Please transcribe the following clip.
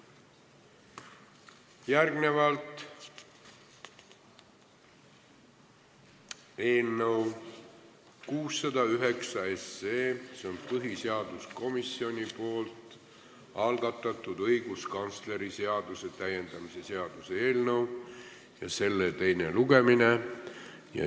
Järgnevalt põhiseaduskomisjoni algatatud õiguskantsleri seaduse täiendamise seaduse eelnõu 609 teine lugemine.